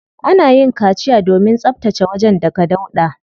Ana yin kaciya domin tsabtace wajen daga dauɗa.